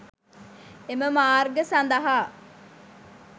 එම මාර්ග සඳහා